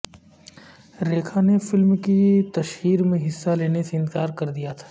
ریکھا نے فلم کی تشہیر میں حصہ لینے سے انکار کر دیا تھا